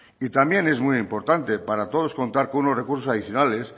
y también es muy importante para todos contar con unos recursos adicionales